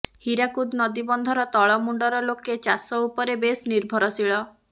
ହୀରାକୁଦ ନଦୀବନ୍ଧର ତଳ ମୁଣ୍ଡର ଲୋକେ ଚାଷ ଉପରେ ବେଶ ନିର୍ଭରଶୀଳ